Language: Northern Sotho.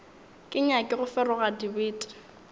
ke nyake go feroga dibete